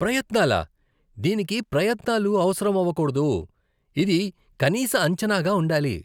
ప్రయత్నాలా? దీనికి ప్రయత్నాలు అవసరమవకూడదు, ఇది కనీస అంచనాగా ఉండాలి.